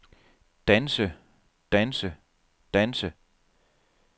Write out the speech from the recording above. danse danse danse